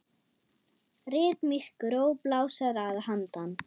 Ritmísk ró blásara að handan.